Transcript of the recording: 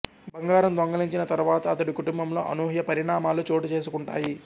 బంగారం దొంగిలించిన తర్వాత అతడి కుటుంబంలో అనూహ్య పరిణామాలు చోటు చేసుకుంటాయి